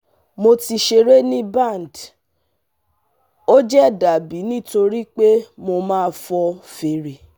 mo ti ṣere ni band, o je dabi nitori pe mo ma fo fere